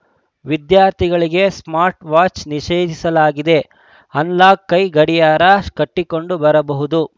ವಿದ್ಯಾರ್ಥಿಗಳಿಗೆ ಸ್ಮಾರ್ಟ್‌ ವಾಚ್‌ಗೆ ನಿಷೇಧಿಸಲಾಗಿದೆ ಅನಲಾಗ್‌ ಕೈ ಗಡಿಯಾರ ಕಟ್ಟಿಕೊಂಡು ಬರಬಹುದು